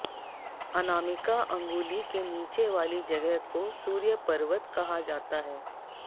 अनामिका अंगुली के नीचे वाली जगह को सूर्य पर्वत कहा जाता है